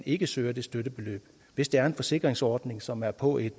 ikke søger det støttebeløb hvis det er en forsikringsordning som er på et